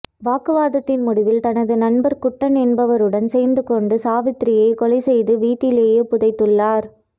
வாக்குவாதத்தின் முடிவில் தனது நண்பர் குட்டன் என்பவருடன் சேர்ந்துகொண்டு சாவித்திரியைக் கொலை செய்து வீட்டிலேயே புதைத்துள்ளார்